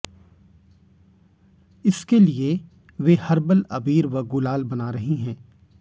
इसके लिए वे हर्बल अबीर व गुलाल बना रही हैं